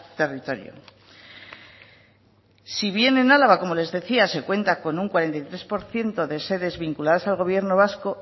territorio si bien en álava como les decía se cuenta con un cuarenta y tres por ciento de sedes vinculadas al gobierno vasco